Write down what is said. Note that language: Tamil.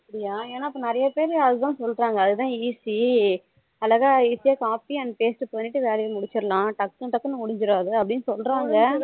அப்படியா எனக்கு நிறைய பேர் அதுதான் சொல்லுறாங்க அதுதான் easy அழகா easy யா copy and paste பண்ணிட்டு வேலைய முடிச்சிரலாம் டக்கு டக்கு முடிஞ்சிராதா அப்படினு சொல்லுறாங்க